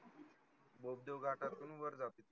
बोगदेव घाटातून वर जाते.